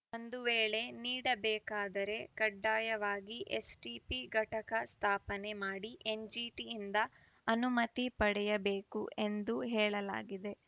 ಒಂದು ವೇಳೆ ನೀಡಬೇಕಾದರೆ ಕಡ್ಡಾಯವಾಗಿ ಎಸ್‌ಟಿಪಿ ಘಟಕ ಸ್ಥಾಪನೆ ಮಾಡಿ ಎನ್‌ಜಿಟಿಯಿಂದ ಅನುಮತಿ ಪಡೆಯಬೇಕು ಎಂದು ಹೇಳಲಾಗಿದೆ